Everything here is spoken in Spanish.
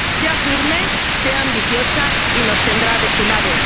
Consejo. Sea firme, sea ambiciosa y nos tendrá